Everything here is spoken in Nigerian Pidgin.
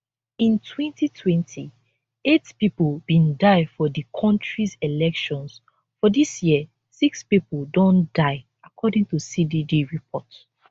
in 2020 8 pipo bin die for di kontris elections for dis year 6 pipo don die according to cdd report